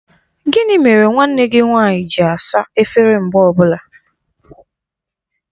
Gịnị mere nwanne gị nwanyị gị asa efere mgbe ọbụla?